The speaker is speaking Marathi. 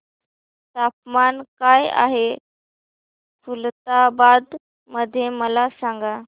तापमान काय आहे खुलताबाद मध्ये मला सांगा